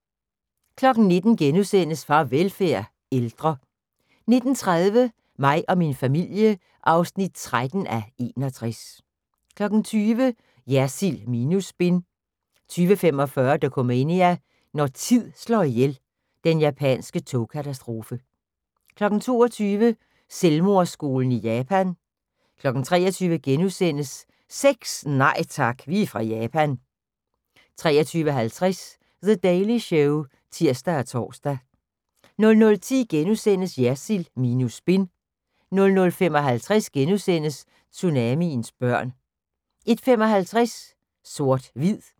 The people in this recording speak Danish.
19:00: Farvelfærd: Ældre * 19:30: Mig og min familie (13:61) 20:00: Jersild minus spin 20:45: Dokumania: Når tid slår ihjel – den japanske togkatastrofe 22:00: Selvmordsskoven i Japan 23:00: Sex? Nej tak, vi er fra Japan * 23:50: The Daily Show (tir og tor) 00:10: Jersild minus spin * 00:55: Tsunamiens børn * 01:55: Sort/hvid